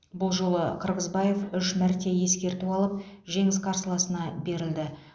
бұл жолы қырғызбаев үш мәрте ескерту алып жеңіс қарсыласына берілді